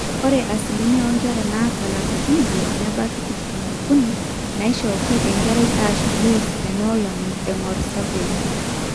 ore asilimia oonkera naata ilapaitin ile nebaiki tikitam ookuni naaishooki enkare aashu juis teinoolong eng'or survey